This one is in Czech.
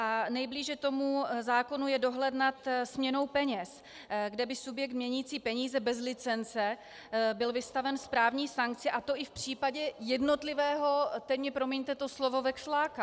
A nejblíže tomu zákonu je dohled nad směnou peněz, kde by subjekt měnící peníze bez licence byl vystaven správní sankci, a to i v případě jednotlivého, teď mi promiňte to slovo, veksláka.